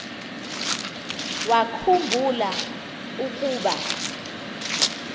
wakhu mbula ukuba